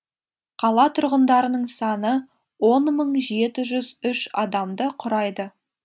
қала тұрғындарының саны он мың жеті жүз үш адамды құрайды